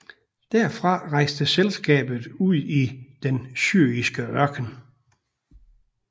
Derfra rejste selskabet ud i den syriske ørken